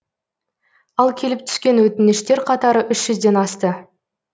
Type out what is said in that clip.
ал келіп түскен өтініштер қатары үш жүзден асты